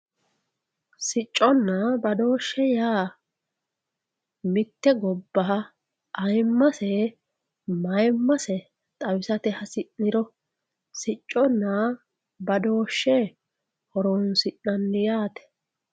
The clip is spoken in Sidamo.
sicconna badooshshe yaa mitte gobbaha ayiimmase mayiimmase xawisate hasi'niro sicconna badooshshe horonsi'nanni yaate.